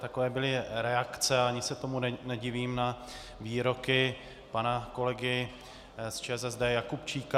Takové byly reakce, a ani se tomu nedivím, na výroky pana kolegy z ČSSD Jakubčíka.